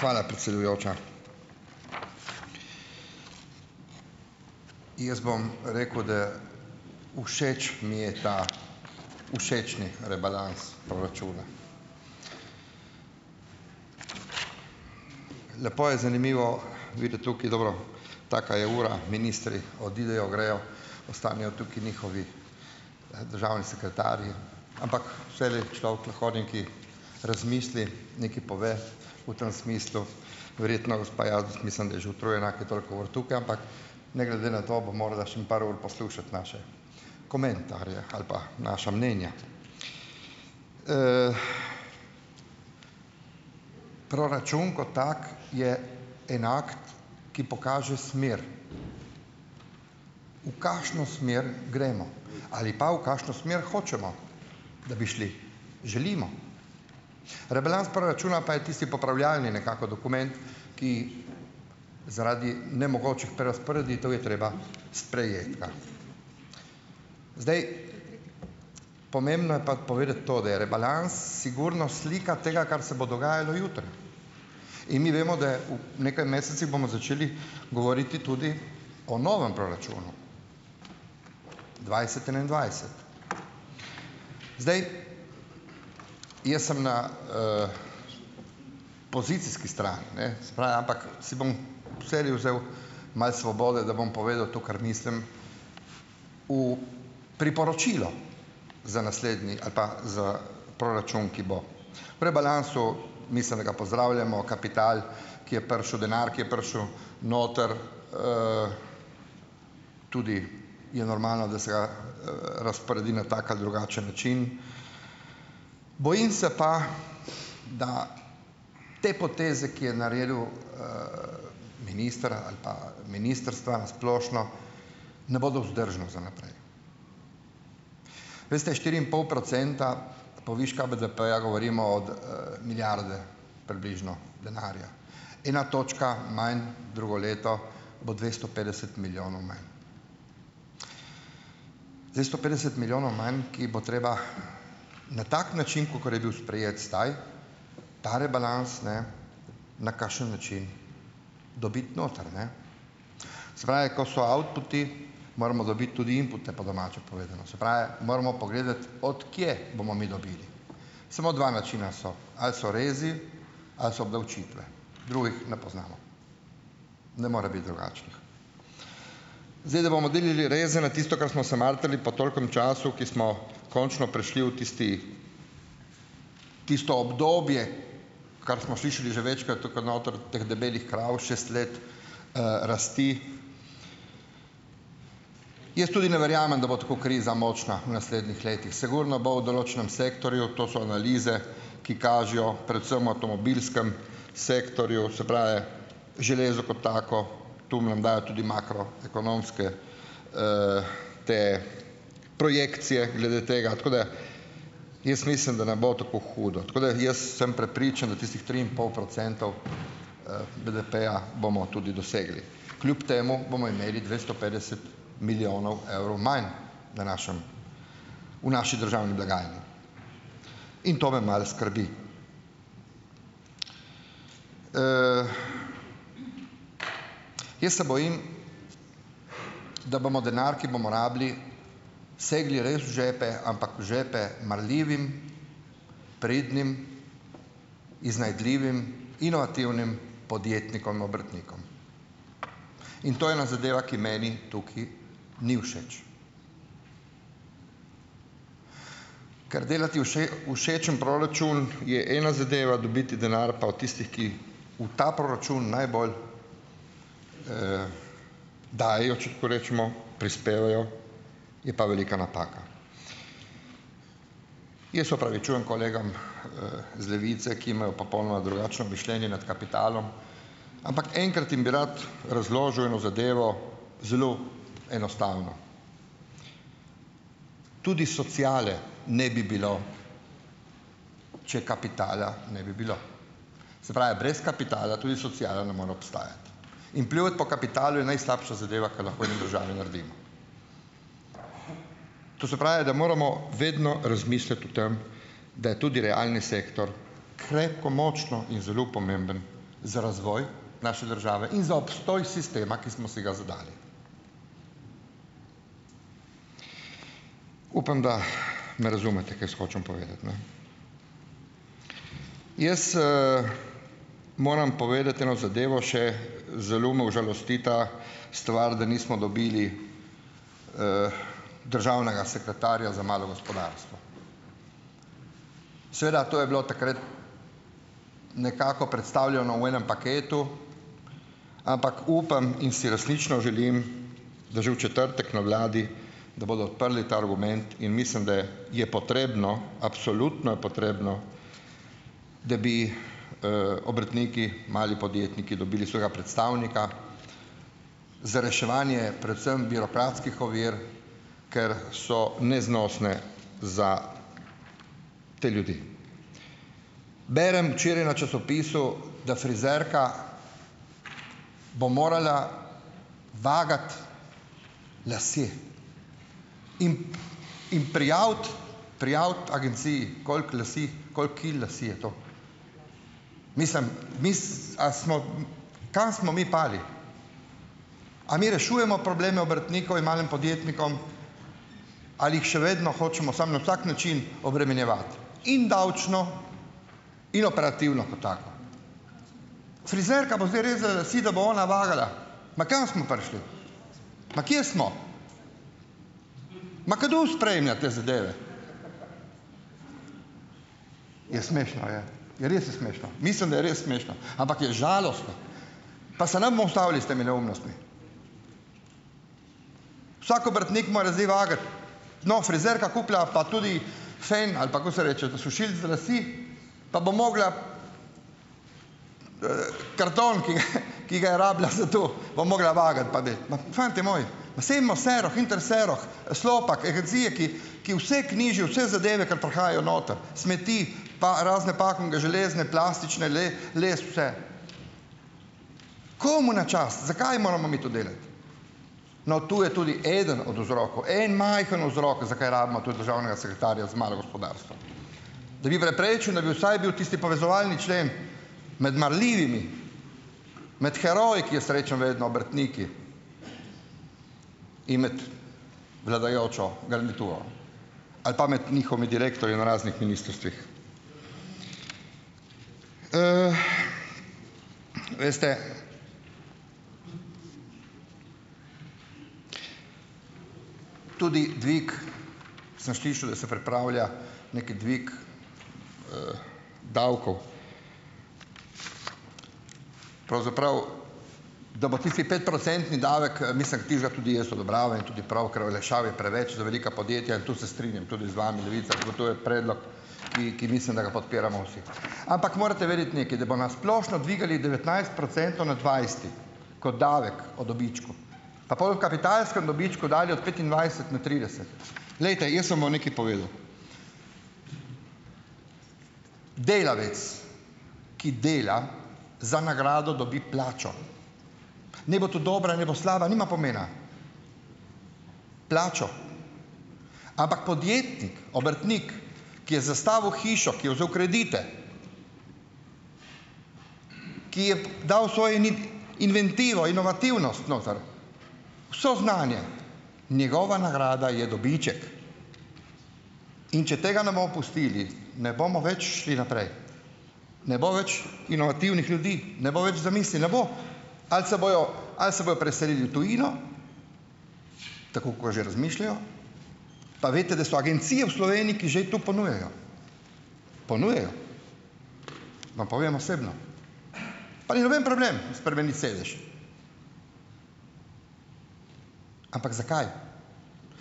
Hvala predsedujoča. Jaz bom rekel da, všeč mi je ta všečni rebalans proračuna. Lepo je zanimivo videti tukaj, dobro, taka je ura, ministri odidejo, grejo, ostanejo tukaj njihovi državni sekretarji, ampak vselej, človek lahko nekaj razmisli, nekaj pove, v tem smislu. Verjetno gospa Jazbe, mislim, da je že utrujena, ker je toliko ur tukaj, ampak ne glede na to, bo morala še par ur poslušati naše komentarje ali pa naša mnenja. Proračun ko tak, je enako, ki pokaže smer, v kakšno smer gremo ali pa v kakšno smer hočemo, da bi šli, želimo. Rebalans proračuna pa je tisti popravljalni, nekako, dokument, ki zaradi nemogočih prerazporeditev je treba sprejeti ga. Zdaj, pomembno je pa povedati to, da je rebalans sigurno slika tega, kar se bo dogajalo jutri in mi vemo, da je, v nekaj mesecih bomo začeli govoriti tudi o novem proračunu, dvajset enaindvajset. Zdaj, jaz sem na pozicijski strani, ne, se pra, ampak si bom vselej vzel malo svobode, da bom povedal to, kar mislim, v priporočilo za naslednji ali pa za proračun, ki bo, v rebalansu, mislim, da ga pozdravljamo, kapital, ki je prišel, denar, ki je prišel noter, tudi je normalno, da se ga razporedi na tak ali drugačen način. Bojim se pa, da te poteze, ki je naredil ministra ali pa ministrstva, splošno ne bodo vzdržne za naprej. Veste, štiri in pol procenta poviška BDP-ja govorimo od milijarde približno denarja. Ena točka manj drugo leto bo dvesto petdeset milijonov manj. Dvesto petdeset milijonov manj, ki jih bo treba na tak način, kakor je bil sprejet staj ta rebalans, ne na kakšen način dobiti noter, ne. Se pravi, ko so outputi, moramo dobiti tudi inpute, po domače povedano. Se pravi, moramo pogledati, od kje bomo mi dobili. Samo dva načina so: ali so rezi ali so obdavčitve. Drugih ne poznamo, ne more biti drugačnih. Zdaj, da bomo delali reze na tisto, kar smo se matrali po tolikem času, ki smo končno prišli v tisti tisto obdobje, kar smo slišali že večkrat, tukaj noter, teh debelih krav, šest let rasti. Jaz tudi ne verjamem, da bo tako kriza močna v naslednjih letih. Sigurno bo v določenem sektorju, to so analize, ki kažejo predvsem avtomobilskem sektorju, se pravi, železo kot tako, tu nam dajo tudi makroekonomske te projekcije glede tega. Tako da jaz mislim, da ne bo tako hudo. Tako da jaz sem prepričan, da tistih tri in pol procentov BDP-eja bomo tudi dosegli. Kljub temu bomo imeli dvesto petdeset milijonov evrov manj v našim v naši državni blagajni. In to me malo skrbi. Jaz se bojim, da bomo denar, ki bomo rabili, segli res v žepe, ampak v žepe marljivim, pridnim, iznajdljivim inovativnim podjetnikom, obrtnikom. In to ena zadeva, ki meni tukaj ni všeč. Ker delati všečen proračun je ena zadeva, dobiti denar pa, o tisti, ki v ta proračun najbolj dajejo, če tako rečemo, prispevajo, je pa velika napaka. Jaz se opravičujem kolegom z levice, ki imajo popolnoma drugačno mišljenje nad kapitalom. Ampak enkrat jim bi rad razložil eno zadevo, zelo enostavno. Tudi sociale ne bi bilo, če kapitala ne bi bilo. Se pravi, brez kapitala tudi sociala ne more obstajati. In pljuvati po kapitalu je najslabša zadeva, ki jo lahko mi v državi naredimo. To se pravi, da moramo vedno razmisliti o tem, da je tudi realni sektor krepko močno in zelo pomemben za razvoj naše države in za obstoj sistema, ki smo si ga zadali. Upam, da me razumete, kaj jaz hočem povedati, ne. Jaz moram povedati eno zadevo še. Zelo me užalosti ta stvar, da nismo dobili državnega sekretarja za malo gospodarstvo. Seveda, to je bilo takrat nekako predstavljeno v enem paketu, ampak upam in si resnično želim, da že v četrtek na vladi da bodo odprli ta argument, in mislim, da je potrebno, absolutno je potrebno, da bi obrtniki, mali podjetniki dobili svojega predstavnika za reševanje predvsem birokratskih ovir, ker so neznosne za te ljudi. Berem včeraj na časopisu, da frizerka bo morala vagati lase in in prijaviti prijaviti agenciji, koliko lasje, koliko kil las je to. Mislim, mis, a smo kam smo mi padli? A mi rešujemo probleme obrtnikov in malim podjetnikom ali jih še vedno hočemo samo na vsak način obremenjevati? In davčno in operativno, ko tako. Frizerka bo zdaj rezala lase, da bo ona vagala. Ma kam smo prišli? Ma kje smo? Ma kdo sprejema te zadeve? Je, smešno je, ja, res je smešno. Mislim, da je res smešno. Ampak je žalostno. Pa se ne bomo ustavili s temi neumnostmi. Vsak obrtnik mora zdaj vagati, no, frizerka kupila, pa tudi fen, ali pa ko se reče, sušilec za lase, pa bo mogla karton, ki ga je, ki ga je rabila za to bo mogla vagati. Pa da, ima fantje moji, Interseroh, Slopak, ki vse knjižijo, vse zadeve, kar prihajajo noter, smeti pa razne pakunge, železne, plastične, les, vse. Komu na čast? Zakaj moramo mi to delati? No, to je tudi eden od vzrokov. En majhen vzrok, zakaj rabimo tudi državnega sekretarja za malo gospodarstvo, da bi preprečil, da bi vsaj bil tisti povezovalni člen med marljivimi, med heroji, ki jaz rečem vedno, obrtniki in med vladajočo garnituro ali pa med njihovimi direktorji na raznih ministrstvih. Veste Tudi dvig, sem slišal, da se pripravlja nek dvig davkov, pravzaprav da bo tisti petprocentni davek, mislim, tistega tudi jaz odobravam, tudi prav, ker olajšav je preveč za velika podjetja, in tu se strinjam tudi z vami Levica, to je predlog, ki ki mislim, da ga podpiramo vsi. Ampak morate vedeti nekaj. Da bo na splošno dvigali devetnajst procentov na dvajset ko davek o dobičku. Pa pol v kapitalskem dobičku dalje od petindvajset na trideset. Glejte, jaz vam bom nekaj povedal. Delavec, ki dela, za nagrado dobi plačo. Naj bo to dobra, naj bo slaba, nima pomena. Plačo. Ampak podjetnik, obrtnik, ki je zastavil hišo, ki je vzel kredite, ki je dal svojo inovativnost noter, vse znanje, njegova nagrada je dobiček. In če tega ne bo pustili, ne bomo več šli naprej. Ne bo več inovativnih ljudi. Ne bo več zamisli, ne bo. Ali se bojo ali se bojo preselil v tujino, tako kakor že razmišljajo, pa veste, da so agencije v Sloveniji, ki že to ponujajo, ponujajo vam povem osebno. Pa ni noben problem spremeniti sedež. Ampak zakaj?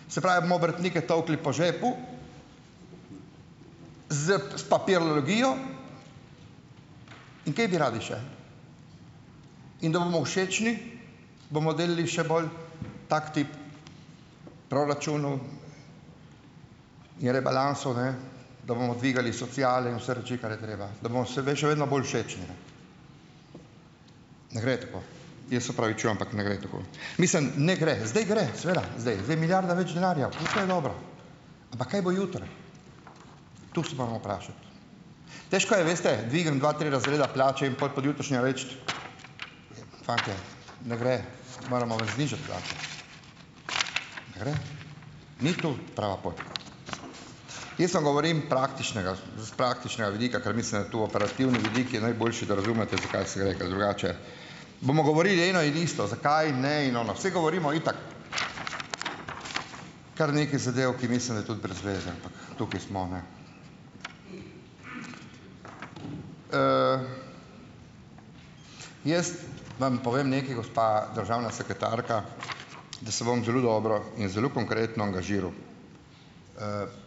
Se pravi, bomo obrtnike tolkli po žepu z s papirologijo. In kaj bi radi še? In da bomo všečni, bomo delali še bolj tak tip proračunov in rebalansov, ne, da bomo dvigali sociale in vse reči, kar je treba, da bomo se še vedno bolj všečni, ne. Ne gre tako, jaz se opravičujem, ampak ne gre tako. Mislim, ne gre. Zdaj gre, seveda, zdaj. Zdaj je milijarda več denarja. Ampak kaj bo jutri? To se moramo vprašati. Težko je, veste, dvigniti dva, tri razreda plače in pol pojutrišnjem reči, fantje, ne gre, moramo vam znižati plače. Ne gre. Ni tu prava pot. Jaz vam govorim praktičnega s praktičnega vidika, ker mislim, da je to operativno, vidik, je najboljši, da razumete, za kaj se gre, ker drugače bomo govorili eno in isto, zakaj ne, in ono. Saj govorimo itak kar nekaj zadev, ki mislim, da je tudi brez veze, ampak tukaj smo, ne. Jaz vam povem nekaj, gospa državna sekretarka, da se bom zelo dobro in zelo konkretno angažiral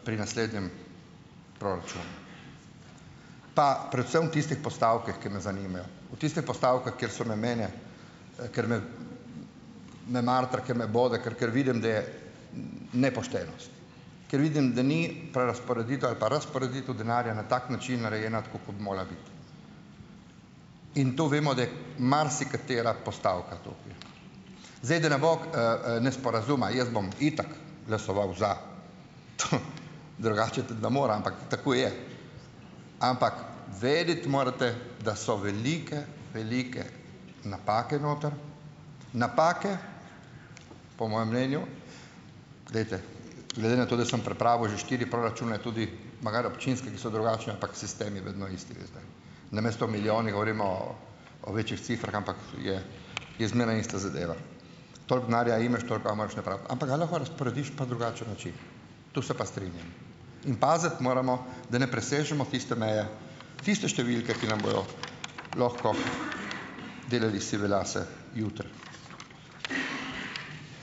pri naslednjem proračunu. Pa predvsem v tistih postavkah, ki me zanimajo. V tiste postavke, kjer se me mene, ker me me matra, ker me bo, ker ker vidim, da je nepoštenost, ker vidim, da ni prerazporeditev ali pa razporeditev denarja na tak način narejena tako, kot bi mogla biti. In to vemo, da je marsikatera postavka to. Zdaj da ne bo nesporazuma, jaz bom itak glasoval za, drugače tudi ne mora, ampak tako je. Ampak vedeti morate, da so velike, velike napake noter. Napake, po mojem mnenju, glejte, glede na to, da sem pripravil že štiri proračune tudi magari občinske, ki so drugačni, ampak sistem je vedno isti, veste. Namesto o milijonih govorimo o o večjih cifrah, ampak je je zmeraj ista zadeva. Toliko denarja imaš, toliko ga moraš napraviti. Ampak ga lahko razporediš pa drugačen način. To se pa strinjam. In paziti moramo, da ne presežemo tiste meje, tiste številke, ki nam bojo lahko delali sive lase jutri.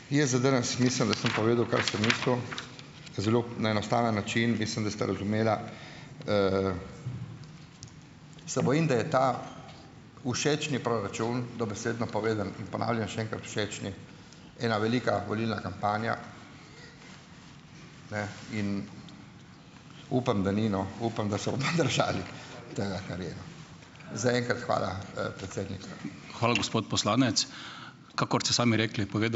Jaz za danes mislim, da sem povedal, kar sem mislil . Zelo na enostaven način. Mislim, da ste razumela. Se bojim, da je ta všečni proračun dobesedno povedano - in ponavljam še enkrat - všečni. Ena velika volilna kampanja. Upam, da ni, no, tega, kar je. Zaenkrat hvala, predsednik.